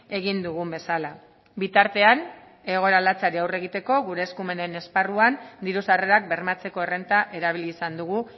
egin dugun bezala bitartean egoera latzari aurre egiteko gure eskumenen esparruan diru sarrerak bermatzeko errenta erabili izan dugu